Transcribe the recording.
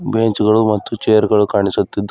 bench ಗಳು ಮತ್ತು ಚೇರ್ ಗಳು ಕಾಣಿಸುತಿದ್ದು --